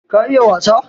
ka iya wasa?